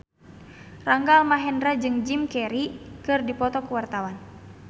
Rangga Almahendra jeung Jim Carey keur dipoto ku wartawan